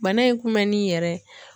Bana in kun bɛ nin yɛrɛ.